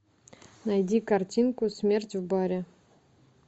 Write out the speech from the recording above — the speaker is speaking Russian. найди картинку смерть в баре